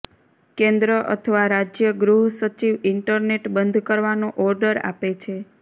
કેન્દ્ર અથવા રાજ્ય ગૃહસચિવ ઇન્ટરનેટ બંધ કરવાનો ઓર્ડર આપે છે